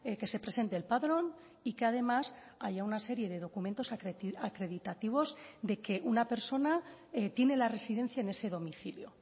que se presente el padrón y que además haya una serie de documentos acreditativos de que una persona tiene la residencia en ese domicilio